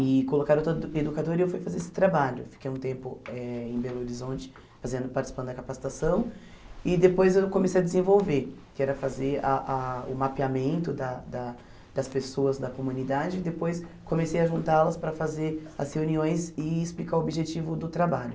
e colocaram toda a educadora e eu fui fazer esse trabalho fiquei um tempo eh em Belo Horizonte fazendo participando da capacitação e depois eu comecei a desenvolver que era fazer ah ah o mapeamento da da das pessoas da comunidade e depois comecei a juntá-las para fazer as reuniões e explicar o objetivo do trabalho